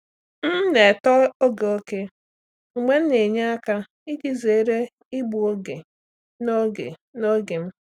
M na-etọ oge ókè mgbe m na-enye aka iji zere igbu oge n’oge n’oge m.